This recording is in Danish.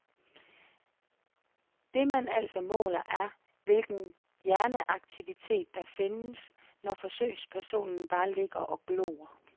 Det man altså måler er, hvilken hjerneaktivitet, der findes, når forsøgspersonen bare ligger og glor.